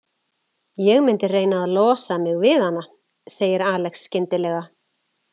Ég myndi reyna að losa mig við hana, segir Alex skyndilega.